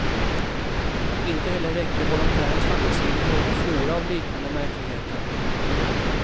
Inte heller räckte volontärens fantasi till någon flora av liknande märkligheter.